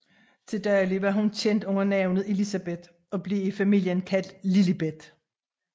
Til daglig var hun kendt under navnet Elizabeth og blev i familien kaldt Lilibet